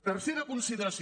tercera consideració